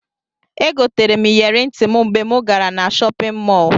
Egoterem iyeri ntim mgbe mu gara na shopin mọlụ.